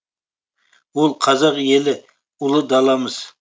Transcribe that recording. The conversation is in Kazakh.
ол қазақ елі ұлы даламыз